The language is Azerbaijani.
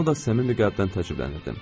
Buna da səmimi qəlbdən təəccüblənirdim.